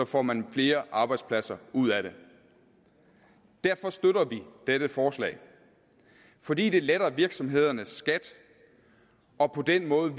får man flere arbejdspladser ud af det derfor støtter vi dette forslag fordi det letter virksomhedernes skat og på den måde